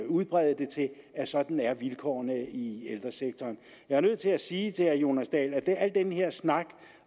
udbrede det til at sådan er vilkårene i ældresektoren jeg er nødt til at sige til herre jonas dahl at al den her snak